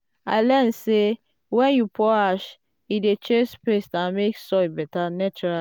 i learn say when you pour ash e dey chase pest and make soil better naturally.